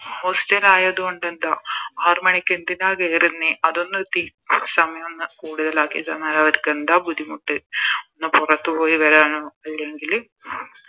Hostel ആയത് കൊണ്ട് എന്താ ആറ് മണിക്ക് എന്തിനാ കേറുന്നേ അതൊന്ന് തി സമയോന്ന് കൂടുതലാക്കി തന്ന അവരിക്ക് എന്താ ബുദ്ധിമുട്ട് ഒന്ന് പൊറത്ത് പോയി വരാനോ അല്ലെങ്കില്